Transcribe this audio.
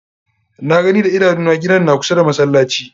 Na gani da idanu na, gidan na kusa da masallaci.